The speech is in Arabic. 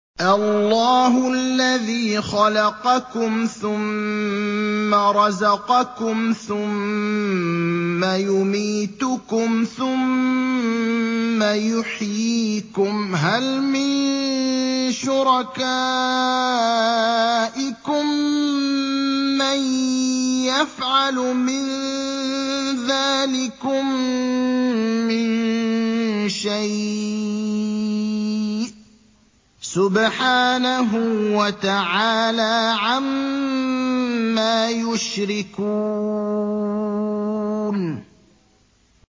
اللَّهُ الَّذِي خَلَقَكُمْ ثُمَّ رَزَقَكُمْ ثُمَّ يُمِيتُكُمْ ثُمَّ يُحْيِيكُمْ ۖ هَلْ مِن شُرَكَائِكُم مَّن يَفْعَلُ مِن ذَٰلِكُم مِّن شَيْءٍ ۚ سُبْحَانَهُ وَتَعَالَىٰ عَمَّا يُشْرِكُونَ